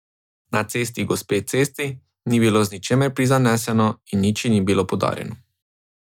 Na cesti gospe Cesti ni bilo z ničimer prizaneseno in nič ji ni bilo podarjeno.